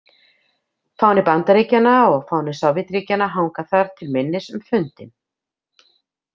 Fáni Bandaríkjanna og fáni Sovétríkjanna hanga þar til minnis um fundinn.